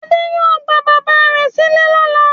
Adé yóò gba bàbá rẹ̀ sílẹ̀ lọ́la.